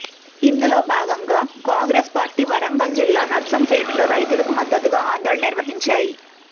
ఇందులో భాగంగా కాంగ్రెస్ పార్టీ వరంగల్ జిల్లా నర్సంపేటలో రైతులకు మద్దతుగా ఆందోళన నిర్వహించాయి